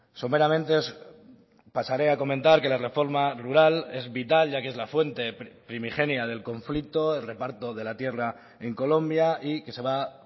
someramente pasaré a comentar que la reforma rural es vital ya que es la fuente primigenia del conflicto el reparto de la tierra en colombia y que se va a